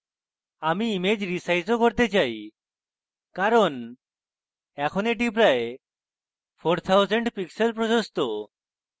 আমি image resize ও করতে চাই কারণ এখন এটি প্রায় 4000 pixels প্রশস্ত যা একটু অধিক বেশী